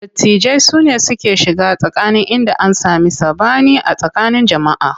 Dattijai sune suke shiga tsakani idan an sami saɓani a tsakanin jama'a.